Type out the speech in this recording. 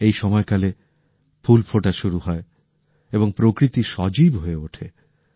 এই সময়কালে ফুল ফোটা শুরু হয় এবং প্রকৃতি সজীব হয়ে ওঠে